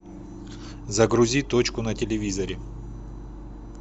загрузи точку на телевизоре